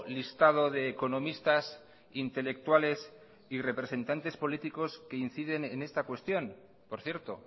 listado de economistas intelectuales y representantes políticos que inciden en esta cuestión por cierto